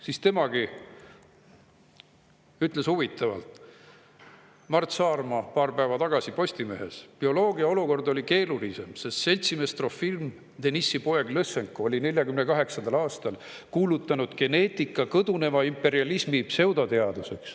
Mart Saarma paar päeva tagasi Postimehes midagi huvitavat: "Bioloogia olukord oli keerulisem, sest seltsimees Trofim Denissi poeg Lõssenko oli 1948. aastal kuulutanud geneetika kõduneva imperialismi pseudoteaduseks.